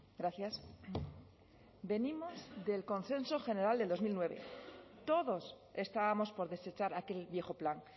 gracias venimos del consenso general del dos mil nueve todos estábamos por desechar aquel viejo plan